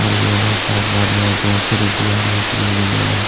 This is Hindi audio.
और यह भाई साहब बोल रहै है दो सौ रुपया रेट में मिलेगा--